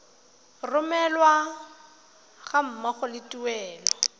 romelwa ga mmogo le tuelo